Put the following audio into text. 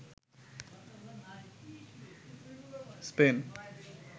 Spain